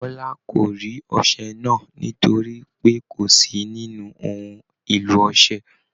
Bọla kò rí ọṣẹ náà nítorí pé kó sí nínú ohun èlò ọṣẹ.